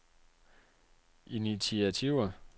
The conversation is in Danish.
initiativer